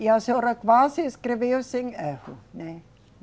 E a senhora quase escreveu sem erro, né?